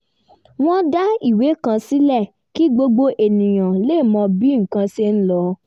wọ́n dá ìwé kan sílẹ̀ kí gbogbo ènìyàn lè mọ bí nǹkan ṣe ń lọ